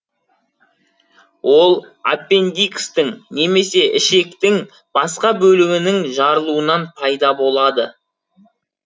ол аппендикстің немесе ішектің басқа бөлігінің жарылуынан пайда болады